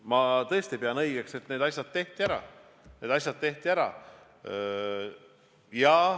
Ma tõesti pean õigeks, et need asjad tehti ära.